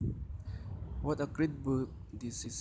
What a great book this is